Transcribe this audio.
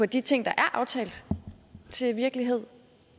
de ting der er aftalt til virkelighed